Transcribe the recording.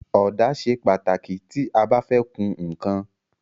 Ọ̀dà ṣe pàtàkì tí a bá fẹ́ kun ǹkan.